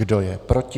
Kdo je proti?